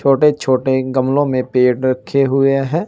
छोटे छोटे गमलों में पेड़ रखे हुए है।